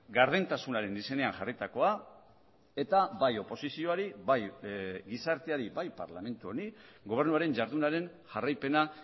gardentasunaren izenean jarritakoa eta bai oposizioari bai gizarteari bai parlamentu honi gobernuaren jardunaren jarraipena